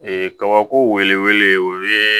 Ee kabako wele o ye